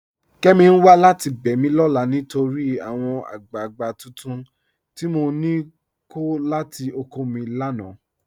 Kẹ́mí n wà láti bẹ́ mi lọ́la nítorí àwọn agbàgbà tuntun tI mọ ní kọ̀ látì ọ̀kọ̀ mi lánà.